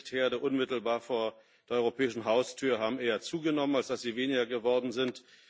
Konfliktherde unmittelbar vor der europäischen Haustür haben eher zugenommen, als dass sie weniger geworden sind.